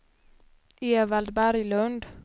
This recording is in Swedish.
Evald Berglund